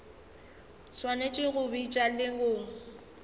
swanetše go bitša le go